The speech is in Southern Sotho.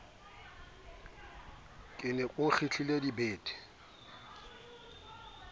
ke re o nkgitlile dibete